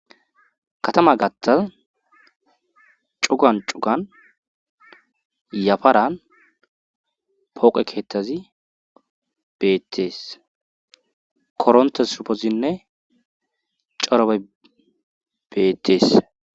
katama gattas cugan cugan yafaran pooqe keettazi beettees korontes supezinne corobe beettees